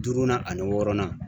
Duurunan ani wɔɔrɔnan.